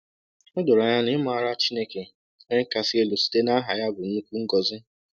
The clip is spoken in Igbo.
O doro anya na ịmara Chineke Onye Kasị Elu site n’aha ya bụ nnukwu ngọzi.